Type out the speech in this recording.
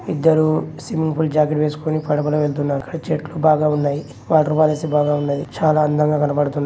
ఇద్దరు స్విమ్మింగ్ పూల జాకెట్ వేస్కొని పడవ వెళ్తున్నారు. అక్కడ చెట్లు బాగా ఉన్నాయి. వాటర్ ఫాల్స్ బాగా ఉన్నాయి. చాలా అందంగా కనపడుతున్నాయ్.